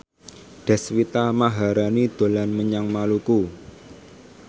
Deswita Maharani dolan menyang Maluku